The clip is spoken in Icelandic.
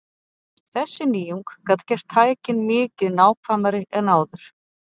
Þessi nýjung gat gert tækin mikið nákvæmari en áður.